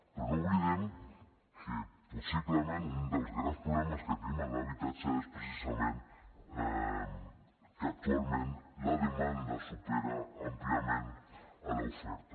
però no oblidem que possiblement un dels grans problemes que tenim en l’habitatge és precisament que actualment la demanda supera àmpliament l’oferta